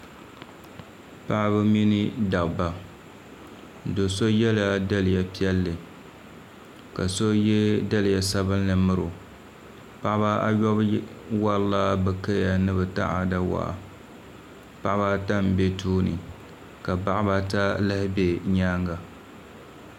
Paɣaba mini dabba do so yɛla daliya piɛlli ka so yɛ daliya sabinli miro paɣaba ayobu worila bi kaya ni bi taada waa paɣaba ata n bɛ tooni ka paɣaba ata lahi bɛ nyaanga